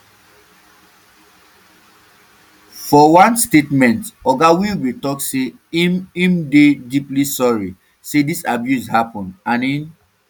for one statement oga welby tok say im im dey deeply sorry say dis abuse happun and im